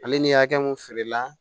Ale ni hakɛ mun feerela